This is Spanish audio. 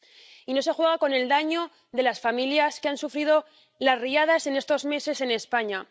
Y no se juega con el daño de las familias que han sufrido las riadas en estos meses en España.